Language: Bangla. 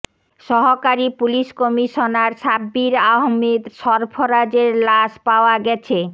সহকারী পুলিশ কমিশনার সাব্বির আহমেদ সরফরাজের লাশ পাওয়া গেছে